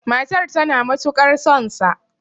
matar tana matukar sonsa!